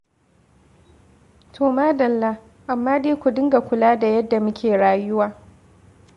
To madalla, amma dai ku dinga kula da yadda kuke rayuwa.